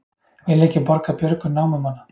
Vilja ekki borga björgun námumanna